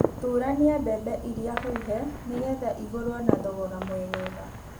Thurania mbembe iria huhe nĩgetha igũrwo na thogora mwegega.